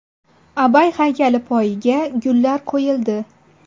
Abay haykali poyiga gullar qo‘yildi.